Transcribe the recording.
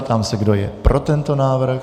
Ptám se, kdo je pro tento návrh.